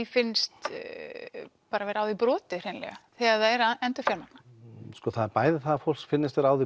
finnst vera á þeim brotið hreinlega þegar þau eru að endurfjármagna það er bæði það að fólki finnist vera á því